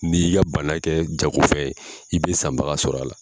N'i y'i ka bana kɛ jago fɛn ye i bɛ sanbaga sɔrɔ a la.